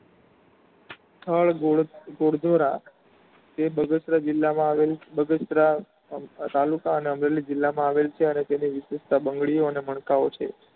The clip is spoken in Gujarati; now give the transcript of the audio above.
સ્થળ ગોરધોરા તે બગસરા જિલ્લા માં આવેલું બગસરા આમ તાલુકા અને અમરેલી માં આવેલ છે અને વિશિસ્ટતા બંગળીઑ અને મળકાઑ છે.